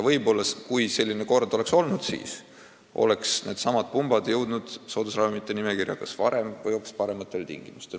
Võib-olla, kui selline kord oleks olnud, siis oleksid needsamad pumbad jõudnud soodusravimite nimekirja varem või hoopis parematel tingimustel.